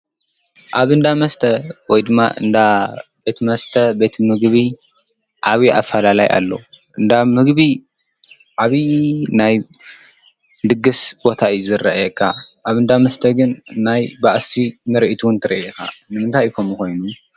ኣብ እንዳ መስተና ወይድማ እንዳ ቤት መስተ ቤት ምግቢ ዓብዩ ኣፈላለይ አለዎ። እንዳ ምግቢ ዓብይ ናይ ድግስ ቦታ እዩ ዝርኣየካ ኣብ እንዳ መስት ግን ናይ ባእሲ ምርኢት እውን ትሪኢ ኢካ። ንምንታይ እዩ ከምኡ ኮይኑ?